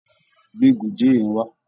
Gbe Gòjé yẹn wá!